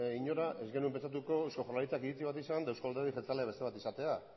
inora ez genuen pentsatuko eusko jaurlaritzak iritzi bat izan eta eusko alderdi jeltzalea bezala izatea